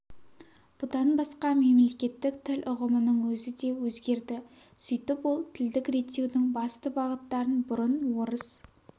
бұдан басқа мемлекеттік тіл ұғымының өзі де өзгерді сөйтіп ол тілдік реттеудің басты бағыттарын бұрын орыс